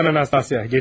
Hə, sənin Nastasya.